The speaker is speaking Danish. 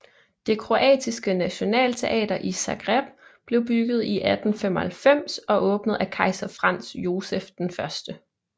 Det Kroatiske Nationalteater i Zagreb blev bygget i 1895 og åbnet af kejser Franz Joseph I